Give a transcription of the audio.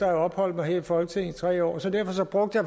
have opholdt mig her i folketinget i tre år så derfor brugte